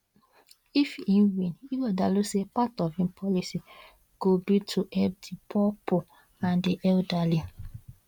if e win ighodalo say part of im policies go be to help di poorpoor and di elderly